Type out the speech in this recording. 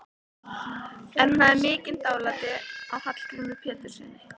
En hún hafði mikið dálæti á Hallgrími Péturssyni.